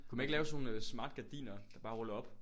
Kunne man ikke lave sådan nogle øh smart gardiner der bare ruller op